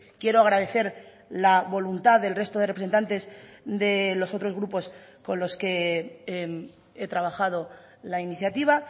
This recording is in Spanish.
quiero agradecer la voluntad del resto de representantes de los otros grupos con los que he trabajado la iniciativa